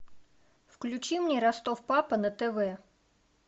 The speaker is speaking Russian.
включи мне ростов папа на тв